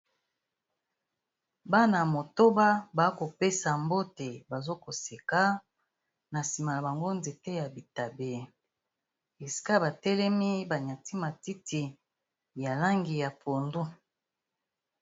Bana motoba ba kopesa mbote bazo koseka. Na nsima na bango nzete ya bitabe, esika ba telemi ba niati matiti ya langi ya pondu.